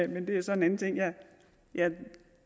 det er så en anden ting jeg jeg